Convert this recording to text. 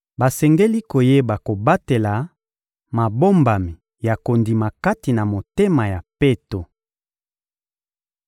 Basengeli koyeba kobatela mabombami ya kondima kati na motema ya peto.